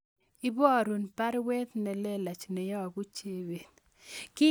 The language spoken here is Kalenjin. Iborun baruet nelelach neyobu Chebet